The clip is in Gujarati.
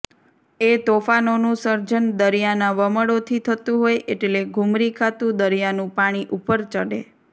એ તોફાનોનું સર્જન દરિયાનાં વમળોથી થતું હોય એટલે ઘૂમરી ખાતું દરિયાનું પાણી ઉપર ચડે